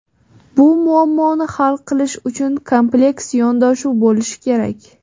Bu muammoni hal qilish uchun kompleks yondashuv bo‘lishi kerak.